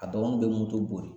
A dɔgɔnin bɛ moto bori